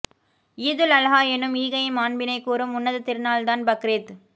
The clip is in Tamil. ஈதுல் அல்ஹா என்னும் ஈகையின் மாண்பினைக் கூறும் உன்னதத் திருநாள்தான் பக்ரீத்